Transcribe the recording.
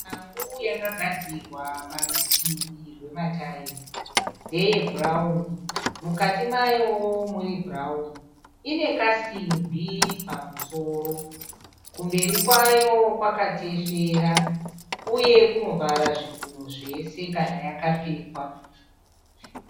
Shangu yakagadzikwa parutivi rwematayera ndeye bhurauni mukati mayowo muri bhurauni ine kasimbi pamusoro kumberi kwayo kwakatesvera uye kunovhara zvigunwe zvese kana yakapfekwa.